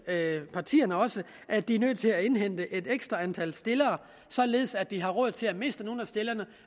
partierne også at de er nødt til at indhente et ekstra antal stillere således at de har råd til at miste nogle af stillerne